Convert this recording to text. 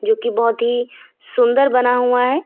की बहोत ही सुंदर बना हुआ है।